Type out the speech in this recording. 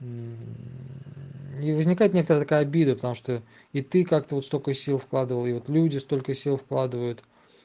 и возникает некоторая такая обида потому что и ты как-то вот столько сил вкладывал и вот люди столько сил вкладывают